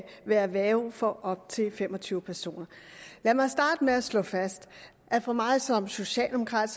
være værge for op til fem og tyve personer lad mig starte med at slå fast at for mig som socialdemokrat